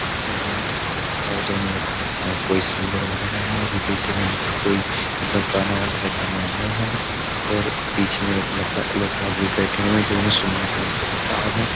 देखिएगा मेरे को लगता है ये दोनों कोई सिंगर वगैरह हैं और ये देखिए कोई मतलब गाना वगैरा गाने आए हैं और पीछे मेरे को लगता है लोग बाग भी बैठे हुए हैं जो इन्हें सुनने के लिए बेताब है।